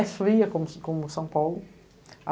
É fria como, como São Paulo.